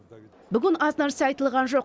бүгін аз нәрсе айтылған жоқ